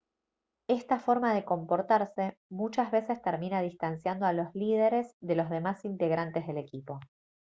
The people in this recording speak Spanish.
esta forma de comportarse muchas veces termina distanciando a los líderes de los demás integrantes del equipo